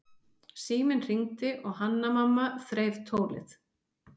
Síminn hringdi og Hanna-Mamma þreif tólið.